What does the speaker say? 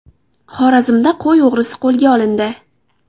Xorazmda qo‘y o‘g‘risi qo‘lga olindi.